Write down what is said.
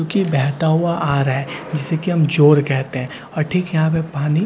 उसकी बहता हुआ आ रहा है जिससे कि हम चोट कहते हैं और ठीक है यहां पर पानी--